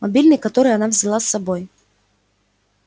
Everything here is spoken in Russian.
мобильный который она взяла с собой